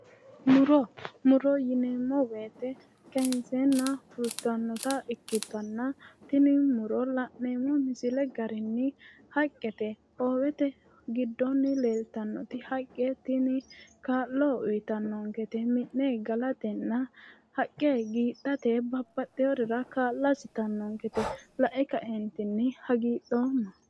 Muro muro yineemo woyte kayiinseena fultanota ikkitana tini muro la'neemo misile garinni haqqete hoowete giddoonni leeltanno haqqe tini kaa'lo uyitannonkete mi'ne galatena haqqe giidhate babaxxeworira kaa'lo assitanonkete lae kaeentinni hagiidhooma